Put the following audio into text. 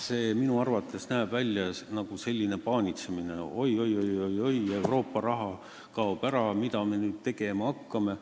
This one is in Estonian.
See näeb minu arvates välja paanitsemisena, et oi-oi-oi, Euroopa raha kaob ära, mida me nüüd tegema hakkame,